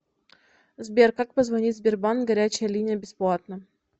сбер как позвонить в сбербанк горячая линия бесплатно